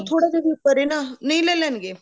ਥੋੜਾ ਜਾ ਵੀ ਉੱਪਰ ਐ ਨਾ ਨਹੀਂ ਲੈ ਲੈਣਗੇ